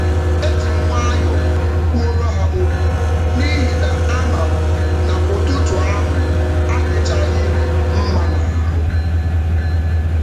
Ejim nwayọ kwuoro ha ókwú, n'ihi na ámám na ụtụtụ ahụ adichaghịrị mmá n'ahụ